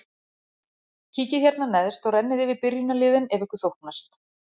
Kíkið hérna neðst og rennið yfir byrjunarliðin ef ykkur þóknast.